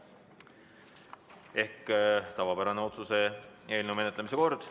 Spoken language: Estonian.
Seega tavapärane otsuse eelnõu menetlemise kord.